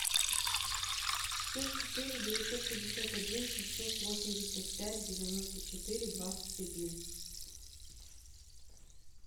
плюс четыре девятьсот пятьдесят один шестьсот восемьдесят пять девяносто четыре двадцать один